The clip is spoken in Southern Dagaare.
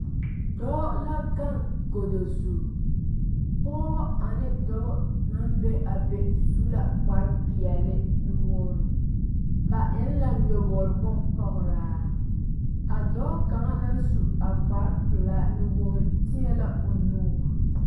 Dɔɔ la gaŋ godo zu, pɔgeba ane Dɔba naŋ be a be su la kpare pɛɛle nuwogiri, ba eŋe la nyɔbor bon pɔgeraa a dɔɔ kaŋa na su a kpare pɛlaa nuwogiri teɛ la o nuuri.